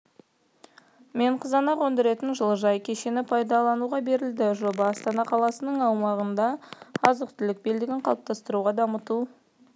мен қызанақ өндіретін жылыжай кешені пайдалануға берілді жоба астана қаласының аумағында азық-түлік белдігін қалыптастыруды дамыту